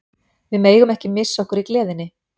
Við megum ekki missa okkur í gleðinni.